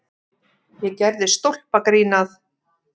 Ég gerði stólpagrín að